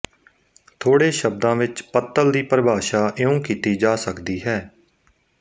ਥੋੜੇ ਸ਼ਬਦਾਂ ਵਿੱਚ ਪੱਤਲ ਦੀ ਪਰਿਭਾਸ਼ਾ ਇਉਂ ਕੀਤੀ ਜਾ ਸਕਦੀ ਹੈ